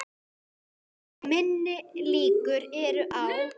Minni líkur eru á